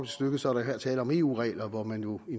stykket så er der her tale om eu regler hvor man jo i